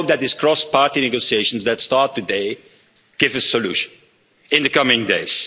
Let's hope that these cross party negotiations that start today give a solution in the coming days.